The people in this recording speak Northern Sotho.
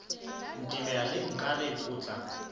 ntemela le nkareng o tla